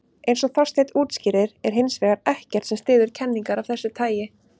Eins og Þorsteinn útskýrir er hins vegar ekkert sem styður kenningar af þessu tagi.